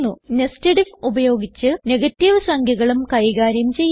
nested if ഉപയോഗിച്ച് negative സംഖ്യകളും കൈകാര്യം ചെയ്യും